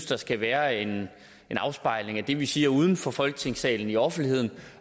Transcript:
der skal være en afspejling af det vi siger uden for folketingssalen i offentligheden